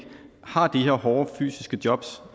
har de her hårde fysiske jobs